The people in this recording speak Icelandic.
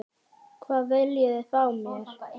Hvað viljið þið frá mér?